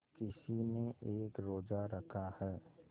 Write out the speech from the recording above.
किसी ने एक रोज़ा रखा है